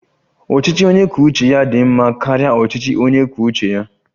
Ọchịchị onye kwuo uche ya dị mma karịa ọchịchị onye kwuo uche ya?